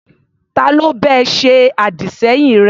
Ta ló bá ẹ ṣe àdì-sẹ́yìn rẹ?